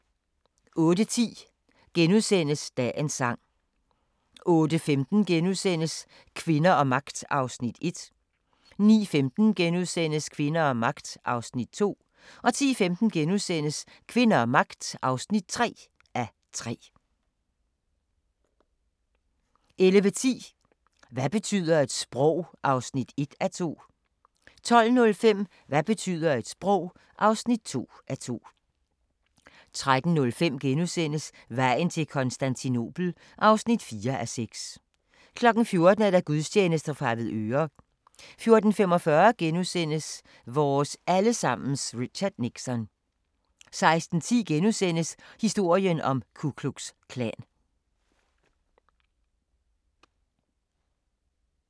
08:10: Dagens Sang * 08:15: Kvinder og magt (1:3)* 09:15: Kvinder og magt (2:3)* 10:15: Kvinder og magt (3:3)* 11:10: Hvad betyder et sprog? (1:2) 12:05: Hvad betyder et sprog? (2:2) 13:05: Vejen til Konstantinopel (4:6)* 14:00: Gudstjeneste fra Avedøre 14:45: Vores alle sammens Richard Nixon * 16:10: Historien om Ku Klux Klan *